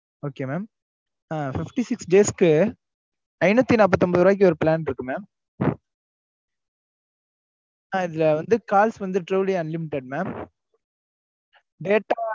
okay mam அஹ் fifty six days க்கு ஐநூத்தி நாப்பத்தி ஒன்பது ரூபாய்க்கு ஒரு plan இருக்கு mam அதுல வந்து கால்ஸ் வந்து daily unlimited mam data.